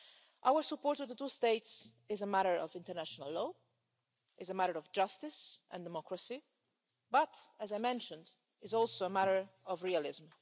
Our support for the two states is a matter of international law, is a matter of justice and democracy, but, as I mentioned, is also a matter of realism.